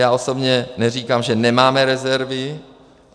Já osobně neříkám, že nemáme rezervy.